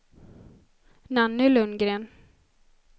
Nanny Lundgren